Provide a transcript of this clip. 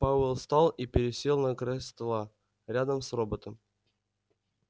пауэлл встал и пересел на край стола рядом с роботом